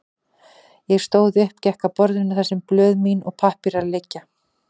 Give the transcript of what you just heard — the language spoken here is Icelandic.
Ég stóð upp, gekk að borðinu þar sem blöð mín og pappírar liggja.